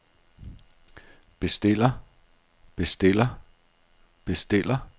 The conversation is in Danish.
bestiller bestiller bestiller